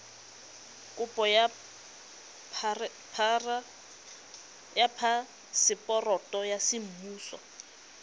kopo ya phaseporoto ya semmuso